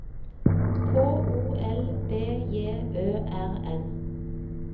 K O L B J Ø R N